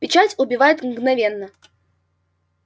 печать убивает мгновенно